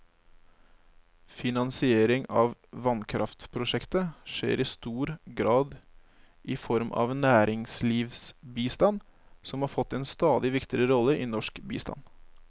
Finansiering av vannkraftprosjekter skjer i stor grad i form av næringslivsbistand, som har fått en stadig viktigere rolle i norsk bistand.